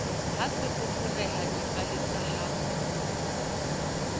ha se foforeha dipalesa ha